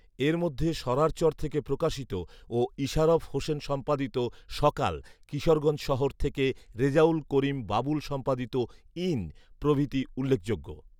এর মধ্যে সরারচর থেকে প্রকাশিত ও ইশারফ হোসেন সম্পাদিত ‘সকাল’, কিশোরগঞ্জ শহর থেকে রেজাউল করীম বাবুল সম্পাদিত ‘ঈণ’ প্রভৃতি উল্লেখযোগ্য